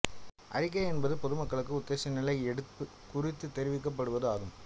அறிவிக்கை என்பது பொது மக்களுக்கு உத்தேச நில எடுப்பு குறித்து தெரிவிக்கப்படுவது ஆகும்